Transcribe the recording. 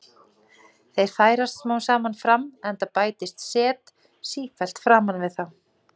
Þeir færast smám saman fram, enda bætist set sífellt framan við þá.